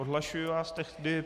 Odhlašuji vás tedy.